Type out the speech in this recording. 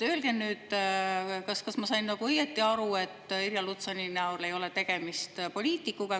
Öelge nüüd, kas ma sain õieti aru, et Irja Lutsari näol ei ole tegemist poliitikuga.